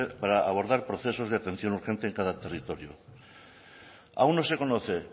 para abordar procesos de atención urgente en cada territorio aun no se conoce